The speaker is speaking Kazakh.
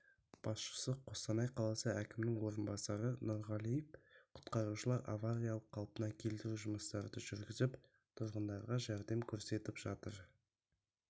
басшысы қостанай қаласы әкімінің орынбасары нұрғалиев құтқарушылар авариялық-қалпына келтіру жұмыстарды жүргізіп тұрғындарға жәрдем көрсетіп жатыр